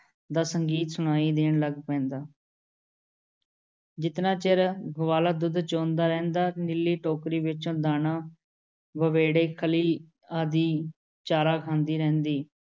ਦਾ ਸੰਗੀਤ ਸੁਣਾਈ ਦੇਣ ਲੱਗ ਪੈਂਦਾ। ਜਿਤਨਾ ਚਿਰ ਗਵਾਲਾ ਦੁੱਧ ਚੋਂਦਾ ਰਹਿੰਦਾ, ਨੀਲੀ ਟੋਕਰੀ ਵਿੱਚੋਂ ਦਾਣਾ, ਵੜੇਵੇਂ, ਖਲ਼ੀ ਆਦਿ ਚਾਰਾ ਖਾਂਦੀ ਰਹਿੰਦੀ ।